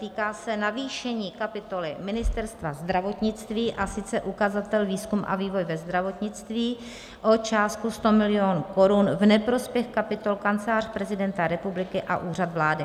Týká se navýšení kapitoly Ministerstva zdravotnictví, a sice ukazatel výzkum a vývoj ve zdravotnictví o částku 100 milionů korun v neprospěch kapitol Kancelář prezidenta republiky a Úřad vlády.